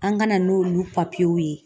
An ka na n'olu ye